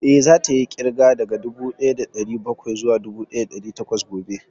Eh, za ta yi ƙirga daga dubu ɗaya da ɗari bakwai zuwa dubu ɗaya da ɗari takwas gobe